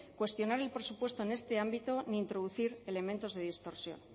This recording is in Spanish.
cuestionar el presupuesto en este ámbito ni introducir elementos de distorsión